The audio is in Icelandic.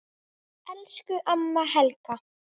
Elsku amma Helga.